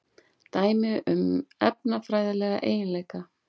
Dæmi um efnafræðilega eiginleika.